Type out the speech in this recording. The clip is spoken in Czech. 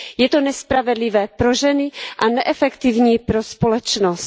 Je to nespravedlivé pro ženy a neefektivní pro společnost.